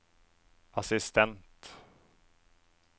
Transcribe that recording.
assistent